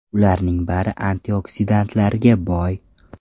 Ularning bari antioksidantlarga boy.